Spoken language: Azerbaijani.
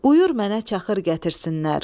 Buyur mənə çaxır gətirsinlər.